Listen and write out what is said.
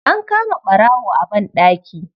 An kama ɓarawo a banɗaki.